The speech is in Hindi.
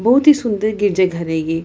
बहोत ही सुंदर गिरिजा घर है ये।